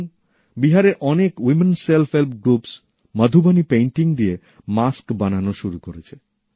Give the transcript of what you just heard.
যেমন বিহারের অনেক মহিলা স্বনির্ভর গোষ্ঠী মধুবণি পেইন্টিং দিয়ে মাস্ক বানানো শুরু করেছে